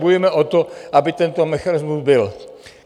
Bojujeme o to, aby tento mechanismus byl.